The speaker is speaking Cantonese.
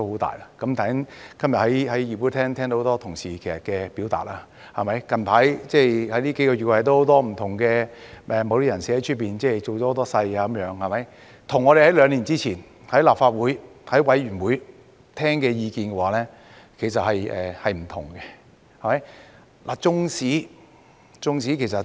大家今日在議會聽到很多同事表達意見，最近幾個月，有很多不同人士在外面造勢，與我們兩年前在立法會或委員會內所聽到的意見其實是不同的。